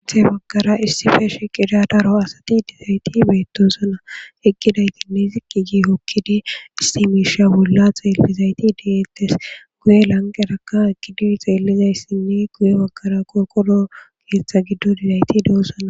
Athe baggara issi feeshi qida daro asati dizayti beettosana eqqiday ginne ziqi gi hokkidi isti miisha bolla xeellizayti deettes guye lanqeraka ekidi xeellizayssinne guye baggara kooqodo keeththa giddo didayti deosana.